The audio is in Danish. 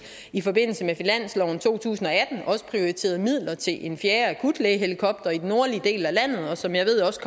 i forbindelse med finansloven for to tusind og atten også prioriterede midler til en fjerde akutlægehelikopter i den nordlige del af landet som jeg ved også